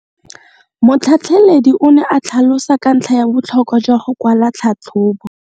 Motlhatlheledi o ne a tlhalosa ka ntlha ya botlhokwa jwa go kwala tlhatlhôbô.